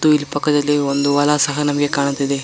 ಇಲ್ಲಿ ಪಕ್ಕದಲ್ಲಿ ಒಂದು ಹೊಲಾ ಸಹ ನಮಗೆ ಕಾಣ್ಣುತ್ತಿದ್ದೆ.